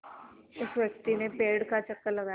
उस व्यक्ति ने पेड़ का चक्कर लगाया